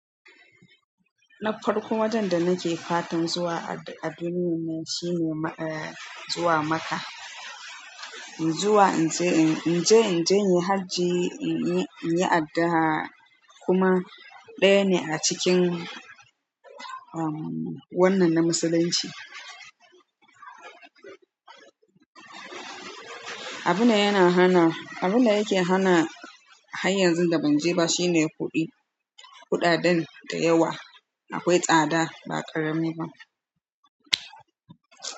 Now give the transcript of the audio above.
Nafarki ya wajen da nake fatan zuwa a duniyar nan maka. Zuwa in je, in je, in je yin hajji, in yi, in yi addu'a kuma ɗaya ne a cikin umm wannan na musulunci. Abin da yana hana, abin da yake hana har yanzu da ban je ba shine kuɗi. Kuɗaɗen da yawa akwai tsada ba a ƙaramiba.